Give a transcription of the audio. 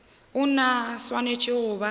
ona a swanetše go ba